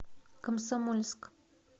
комсомольск